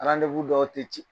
dɔw tɛ ci